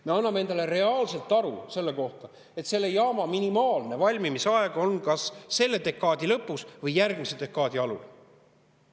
Me anname endale reaalselt aru, et selle jaama valmimise aeg on kas selle dekaadi lõpus või järgmise dekaadi alul.